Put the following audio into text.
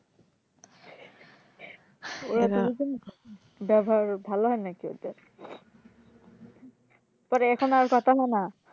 ব্যবহার ভালো হয়না কি ওদের পরে এখন আর কথা হয়না?